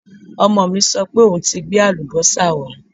Ọmọ mi sọ pé òun ti gbé àlùbọ́sà wá